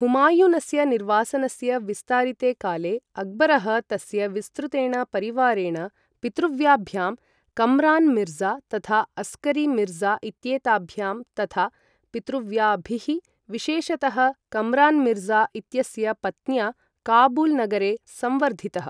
हुमायूनस्य निर्वासनस्य विस्तारिते काले, अक्बरः तस्य विस्तृतेन परिवारेण, पितृव्याभ्यां कम्रान् मिर्ज़ा तथा अस्करी मिर्ज़ा इत्येताभ्यां तथा पितृव्याभिः, विशेषतः कम्रान् मिर्ज़ा इत्यस्य पत्न्या, काबूल् नगरे संवर्धितः।